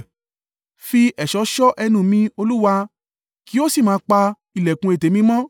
Fi ẹ̀ṣọ́ ṣọ́ ẹnu mi, Olúwa: kí o sì máa pa ìlẹ̀kùn ètè mi mọ́.